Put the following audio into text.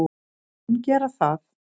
Það mun gera það.